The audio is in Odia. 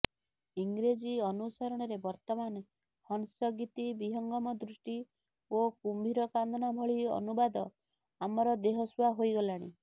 ଇଂରେଜୀ ଅନୁସରଣରେ ବର୍ତ୍ତମାନ ହଂସଗୀତି ବିହଙ୍ଗମ ଦୃଷ୍ଟି ଓ କୁମ୍ଭୀର କାନ୍ଦଣା ଭଳି ଅନୁବାଦ ଆମର ଦେହସୁଆ ହୋଇଗଲାଣି